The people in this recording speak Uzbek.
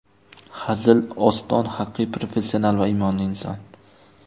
Hazil, Oston haqiqiy professional va iymonli inson.